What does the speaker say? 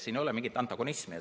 Siin ei ole mingit antagonismi.